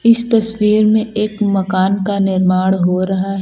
इस तस्वीर में एक मकान का निर्माण हो रहा है।